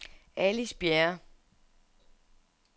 Alice Bjerre